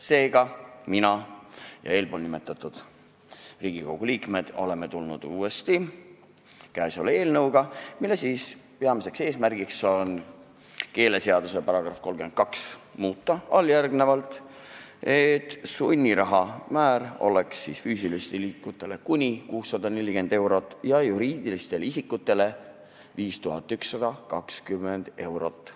Seega, mina ja eespool nimetatud Riigikogu liikmed oleme tulnud uuesti käesoleva eelnõuga, mille peamine eesmärk on muuta keeleseaduse § 32 nii, et sunniraha määr oleks füüsilistel isikutel kuni 640 eurot ja juriidilistel isikutel 5120 eurot.